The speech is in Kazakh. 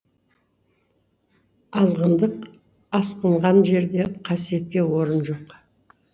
азғындық асқынған жерде қасиетке орын жоқ